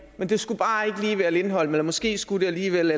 men det skulle bare ikke lige være lindholm eller måske skulle det alligevel